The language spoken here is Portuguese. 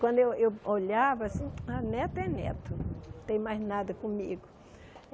Quando eu eu olhava, assim, ah neto é neto, não tem mais nada comigo.